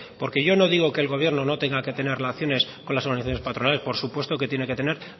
porque yo no digo que el gobierno no tenga que tener relaciones con las organizaciones patronales por supuesto que tiene que tener